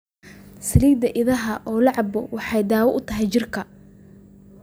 Saliida idaha oo la cabbo waxay dawo u tahay jidhka